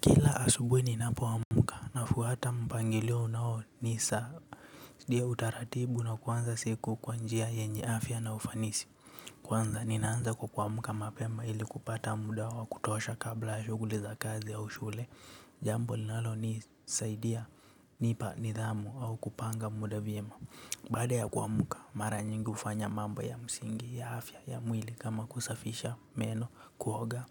Kila asubuhi ninapo amka nafuata mpangilio unao ni saa. Ndio utaratibu na kuanza siku kwa njia yenye afya na ufanisi. Kwanza ninaanza kwa kuamka mapema ili kupata muda wa kutosha kabla ya shughuli za kazi au shule. Jambo linalo nisaidia hunipa nidhamu au kupanga muda vyema. Baada ya kuamka mara nyingi hufanya mambo ya msingi ya afya ya mwili kama kusafisha meno kuoga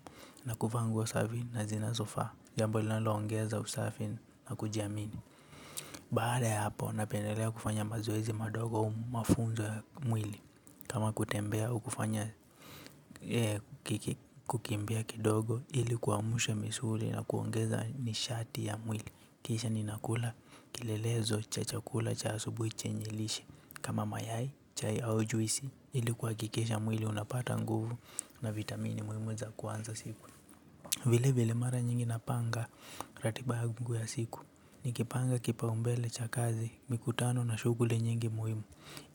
na kuvaa nguo safi na zinazo faa. Jambo linalo ongeza usafi na kujiamini. Baada ya hapo napendelea kufanya mazoezi madogo au mafunzo ya mwili. Kama kutembea au kufanya kukimbia kidogo ili kuamsha misuli na kuongeza nishati ya mwili. Kisha ninakula kilelezo cha chakula cha asubui chenye lishe kama mayai chai au juisi ili kuhakikisha mwili unapata nguvu na vitamini muhimu za kuanza siku. Vile vile mara nyingi napanga ratiba yangu ya siku. Nikipanga kipaumbele cha kazi mikutano na shughuli nyingi muhimu.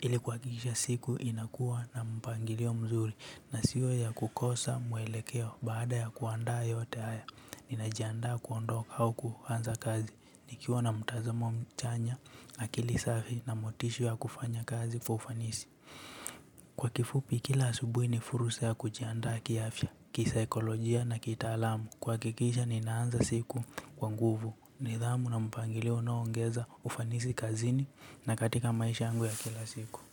Ili kuhakikisha siku inakua na mpangilio mzuri na sio ya kukosa mwelekeo baada ya kuanda yote haya. Ninajianda kuondoka au kuanza kazi nikiwa na mtazamo mchanya na akili safi na motisha ya kufanya kazi kwa ufanisi. Kwa kifupi kila asubui ni fursa ya kujianda kiafya, kisaikolojia na kitaalamu. Kuhakikisha ninaanza siku kwa nguvu nidhamu na mpangilio unaongeza ufanisi kazini na katika maisha yangu ya kila siku.